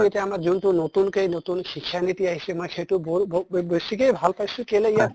এতিয়া আমাৰ যোনটো নতুনকে নতুন শিক্ষা নীতি আছিকে মই সেইটো বেছিকে ভাল পাইছো কেলে